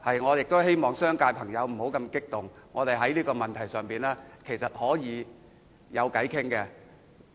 我亦希望商界朋友不要那麼激動，我們在這個問題上是可以商量的。